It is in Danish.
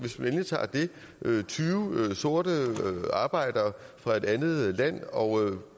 tyve sorte arbejdere fra et andet land og